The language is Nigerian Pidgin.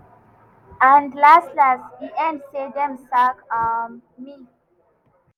and las-las e end say dem sack um me."